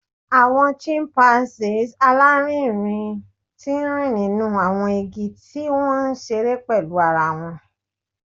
Awọn chimpanzees alarinrin ti nrin ninu awọn igi ti wọn nṣere pẹlu ara wọn